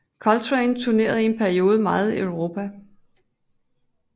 Coltrane turnerer i perioden meget i Europa